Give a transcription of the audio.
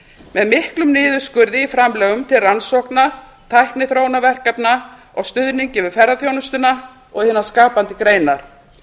með miklum niðurskurði í framlögum til rannsókna tækniþróunarverkefna og stuðningi við ferðaþjónustuna og hinar skapandi greinar